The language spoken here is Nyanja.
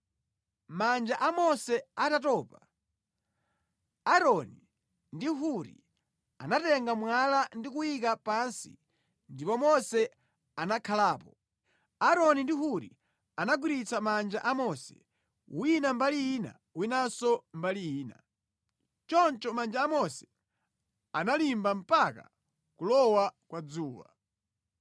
Manja a Mose atatopa, Aaroni ndi Huri anatenga mwala ndi kuyika pansi ndipo Mose anakhalapo. Aaroni ndi Huri anagwirizitsa manja a Mose wina mbali ina winanso mbali ina. Choncho manja a Mose analimba mpaka kulowa kwa dzuwa.